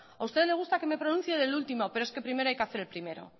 a usted le gusta que me pronuncie del último pero es que primero hay que hacer el primero